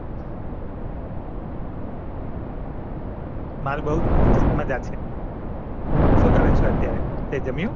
મારે બવ જ મજા સે શુ કરો છો અત્યારે જમ્યું